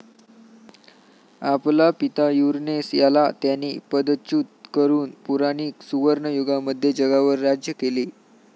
आपला पिता युरनेस याला त्याने पदच्युत करून पुराणीक सुवर्णयुगामध्ये जगावर राज्य केले.